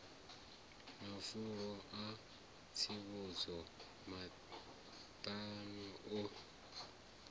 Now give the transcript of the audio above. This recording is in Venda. mafulo a tsivhudzo maṱano u